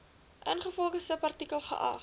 ingevolge subartikel geag